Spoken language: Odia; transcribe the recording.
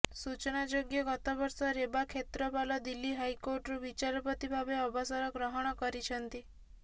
ସୂଚନାଯୋଗ୍ୟ ଗତବର୍ଷ ରେବା କ୍ଷେତ୍ରପାଲ ଦିଲ୍ଲୀ ହାଇକୋର୍ଟରୁ ବିଚାରପତି ଭାବେ ଅବସର ଗ୍ରହଣ କରିଛନ୍ତି